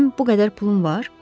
Mənim bu qədər pulum var?